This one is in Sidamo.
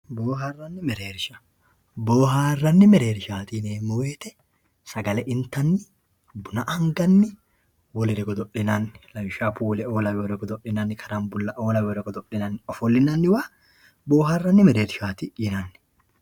Booharanni merreerrisha, booharanni merreerrishati yineemmo woyite, sagale intanni buna anganni wolerr godo'linanni lawishaho puule'o laweyoore godo'linanni karambula'o laweyoore godo'linanni ofolinanniwa booharanni merreerrisha yinanni.